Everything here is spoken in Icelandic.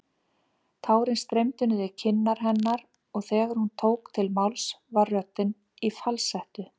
Tárin streymdu niður kinnar hennar og þegar hún tók til máls var röddin í falsettu.